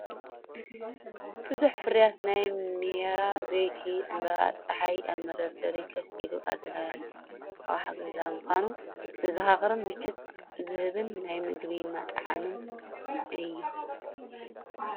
ብዙሕ ፍርያት ናይ "ማይራ" ዘይቲ ዕምባባ ጸሓይ ኣብ መደርደሪ ኮፍ ኢሉ ኣድላዪ ኣቕሓ ገዛ ምዃኑ ዘዘኻኽርን ምቾት ዝህብን ናይ ምግቢ መጠዓዓምን እዩ።